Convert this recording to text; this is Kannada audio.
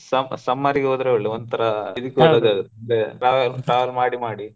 ಸ್~ summer ಗೆ ಹೋದ್ರೆ ಒಳ್ಳೇದು ಒಂತರಾ ಇದ ಟ್ರವೆ~ travel ಮಾಡಿ ಮಾಡಿ.